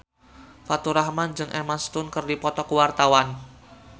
Faturrahman jeung Emma Stone keur dipoto ku wartawan